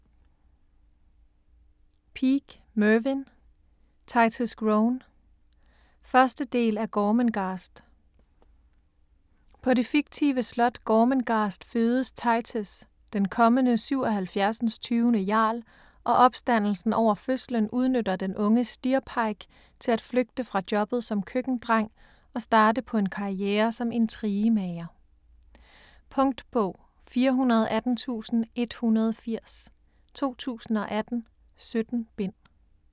Peake, Mervyn: Titus Groan 1. del af Gormenghast. På det fiktive slot Gormenghast fødes Titus, den kommende 77. jarl, og opstandelsen over fødslen udnytter den unge Steerpike til at flygte fra jobbet som køkkendreng og starte på en karriere som intrigemager. Punktbog 418180 2018. 17 bind.